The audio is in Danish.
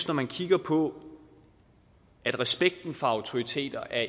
når man kigger på at respekten for autoriteter er